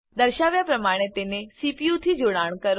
દર્શાવ્યા પ્રમાણે તેને સીપીયુથી જોડાણ કરો